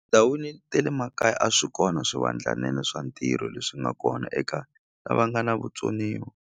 Tindhawini te le makaya a swi kona swivandlanene swa ntirho leswi nga kona eka lava nga na vutsoniwa.